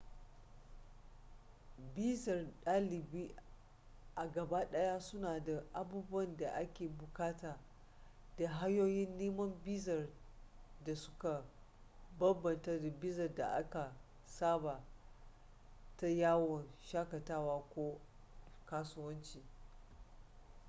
bizar ɗalibi a gaba ɗaya suna da abubuwan da a ke buƙatu da hanyoyin neman bizar da suka bambanta da bizar da aka saba ta yawon shakatawa ko asuwanci